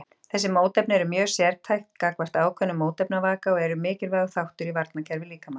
Þessi mótefni eru mjög sértæk gagnvart ákveðnum mótefnavaka og eru mikilvægur þáttur í varnarkerfi líkamans.